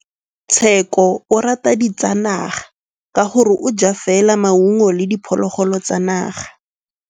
Tshekô o rata ditsanaga ka gore o ja fela maungo le diphologolo tsa naga.